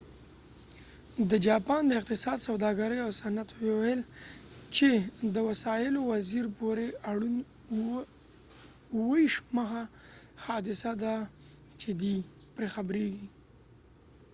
د جاپان د اقتصاد، سوداګري او صنعت وزیر meti وویل چې دا وسایلو پورې اړوند 27مه حادثه ده چې دۍ پرې خبرېږي